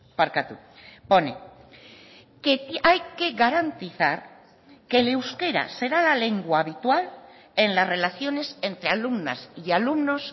barkatu pone que hay que garantizar que el euskera será la lengua habitual en las relaciones entre alumnas y alumnos